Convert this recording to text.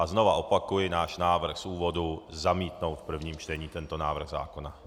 A znova opakuji náš návrh z úvodu zamítnout v prvním čtení tento návrh zákona.